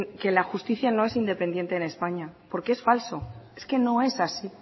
que la justicia no es independiente en españa porque es falso es que no es así